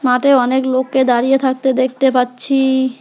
হাটে অনেক লোককে দাঁড়িয়ে থাকতে দেখতে পাচ্ছি।